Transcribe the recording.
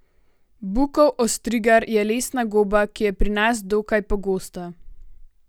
Bukov ostrigar je lesna goba, ki je pri nas dokaj pogosta.